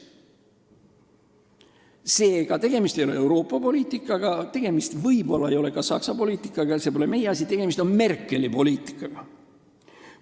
Seega, tegemist ei ole Euroopa poliitikaga, tegemist ei ole võib-olla ka Saksa poliitikaga – see pole meie asi –, tegemist on Merkeli poliitikaga.